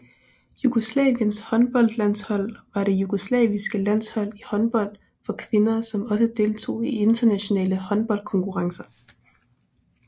Jugoslaviens håndboldlandshold var det jugoslaviske landshold i håndbold for kvinder som også deltog i internationale håndboldkonkurrencer